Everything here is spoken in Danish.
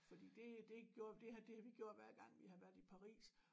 Fordi det det gjorde det har det har vi gjort hver gang vi har været i Paris